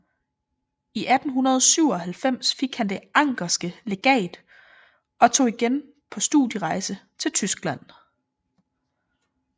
I 1897 fik han Det anckerske Legat og tog igen på studierejse til Tyskland